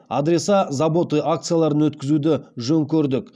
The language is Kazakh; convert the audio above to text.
адреса заботы акцияларын өткізуді жөн көрдік